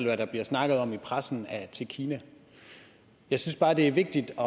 hvad der bliver snakket om i pressen til kina jeg synes bare det er vigtigt at